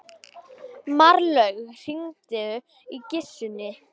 Marlaug, hringdu í Gissunni.